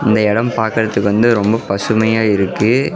இந்த எடம் பாக்குறதுக்கு ரொம்ப பசுமையா இருக்கு.